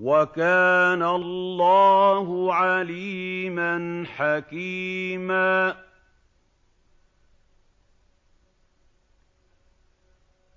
وَكَانَ اللَّهُ عَلِيمًا حَكِيمًا